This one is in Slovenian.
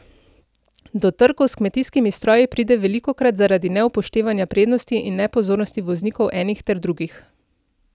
Do trkov s kmetijskimi stroji pride velikokrat zaradi neupoštevanja prednosti in nepozornosti voznikov enih ter drugih.